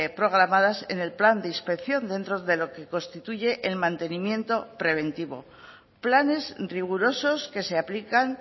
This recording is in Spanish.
programadas en el plan de inspección dentro de lo que constituye el mantenimiento preventivo planes rigurosos que se aplican